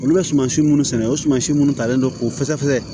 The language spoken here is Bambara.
Olu bɛ suman si munnu sɛnɛ o sumasi minnu talen don k'o fɛsɛfɛsɛ